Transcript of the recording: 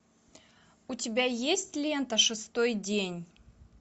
у тебя есть лента шестой день